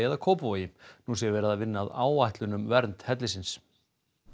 eða Kópavogi nú sé verið að vinna áætlun um vernd hellisins